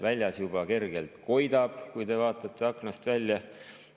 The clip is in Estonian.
Väljas juba kergelt koidab, nagu te näete, kui te vaatate aknast välja.